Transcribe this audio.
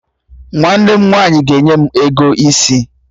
Nwanne m nwaanyị ga-enye m ego isi